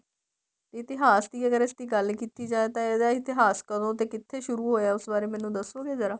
ਇਤਿਹਾਸ ਦੀ ਅਗਰ ਇਸਦੀ ਗੱਲ ਕੀਤੀ ਜਾਏ ਤਾਂ ਇਹਦਾ ਇਤਿਹਾਸ ਕਦੋਂ ਤੇ ਕਿੱਥੇ ਸੁਰੂ ਹੋਇਆ ਉਸ ਬਾਰੇ ਮੈਨੂੰ ਦੱਸੋਗੇ ਜਰਾ